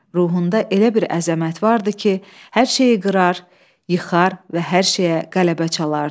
Ruhunda elə bir əzəmət vardı ki, hər şeyi qırar, yıxar və hər şeyə qələbə çalardı.